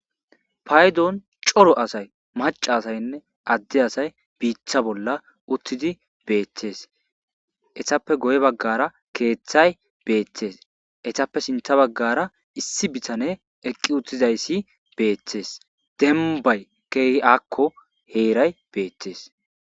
Payddon coro asay macca asaynne adde asay biita bolla uttidi bettees; eetappe guye baggara keeththay beettees; eetappe sinththe baggara issi bitaney eqqi utizayssi beettees; dembbay keehi aako heeray beettees.